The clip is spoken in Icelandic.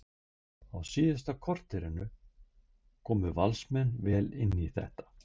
Á síðasta korterinu komu Valsmenn vel inn í þetta.